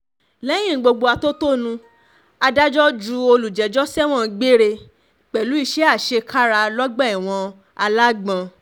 lẹ́yìn gbogbo atótónu adájọ́ ju olùjẹ́jọ́ sẹ́wọ̀n gbére pẹ̀lú iṣẹ́ àṣekára lọ́gbà ẹ̀wọ̀n alágbọ̀n